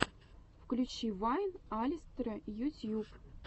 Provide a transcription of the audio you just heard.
включи вайн алистера ютьюб